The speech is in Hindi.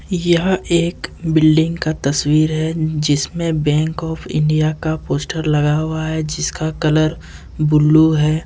यह एक बिल्डिंग का तस्वीर है जिसमें बैंक आफ इंडिया का पोस्टर लगा हुआ है जिसका कलर ब्लू है।